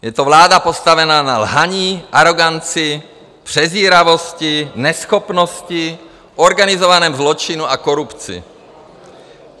Je to vláda postavená na lhaní, aroganci, přezíravosti, neschopnosti, organizovaném zločinu a korupci.